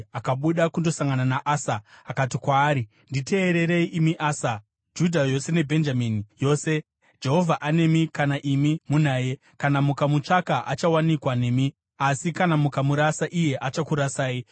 Akabuda kundosangana naAsa akati kwaari, “Nditeererei, imi Asa, Judha yose neBhenjamini yose. Jehovha anemi kana imi munaye. Kana mukamutsvaka, achawanikwa nemi, asi kana mukamurasa, iye achakurasai.